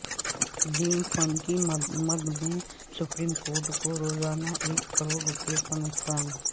dam fund کی مد میں سپریم کورٹ کو روزانہ ایک کروڑ روپے کا نقصان